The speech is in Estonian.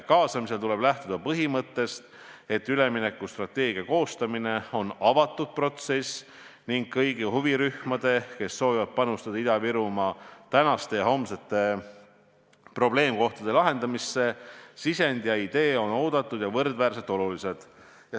Kaasamisel tuleb lähtuda põhimõttest, et üleminekustrateegia koostamine on avatud protsess ning kõigi huvirühmade, kes soovivad panustada Ida-Virumaa tänaste ja homsete probleemide lahendamisse, sisendid ja ideed on oodatud ja võrdväärselt olulised.